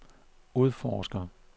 udforsker